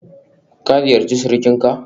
Ka ziyarci surukinka?